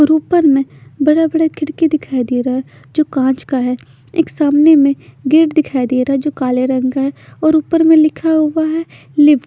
और उपर में बड़े बड़े खिड़की दिखाई देरा है जो काच का है एक सामने में गेट दिखाई देरा है जो काले रंग का है और उपर में लिखा हुआ है लिप--